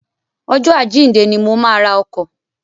Ọjọ́ àjíǹde ni mo máa ra ọkọ̀.